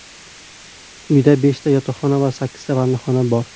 Uyda beshta yotoqxona va sakkizta vannaxona bor.